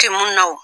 Tɛ mun na wo